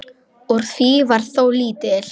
Úr því varð þó lítið.